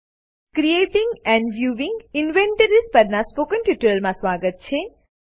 creating and viewing inventories પરનાં spoken ટ્યુટોરીયલમાં સ્વાગત છે